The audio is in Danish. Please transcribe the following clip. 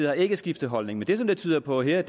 har ikke skiftet holdning men det som det tyder på her